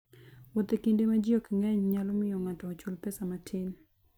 Wuoth e kinde ma ji ok ng'eny nyalo miyo ng'ato ochul pesa matin.